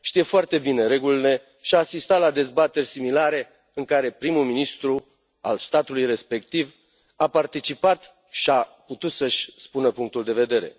Știe foarte bine regulile și a asistat la dezbateri similare, în care prim ministrul statului respectiv a participat și a putut să își spună punctul de vedere.